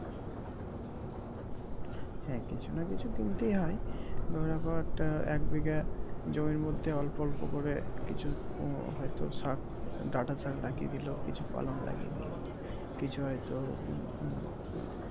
হ্যাঁ কিছু নাহ কিছু কিনতেই হয় ধরে রাখো একটা এক বিঘা জমির মধ্যে অল্প অল্প করে কিছু হয়তো শাক ডাটা শাক লাগিয়ে দিলো কিছু পালং লাগিয়ে দিলো কিছু হয়তো হম উম